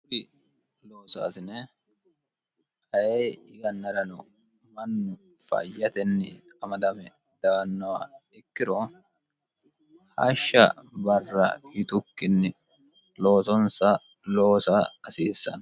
kuri loosaasine aye yannarano mannu fayyatenni amadame reyaannoha ikkiro hashsha barra yitukkinni loosonsa loosa hasiissano